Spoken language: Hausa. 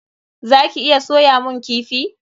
Za ki iya soyamun kifi?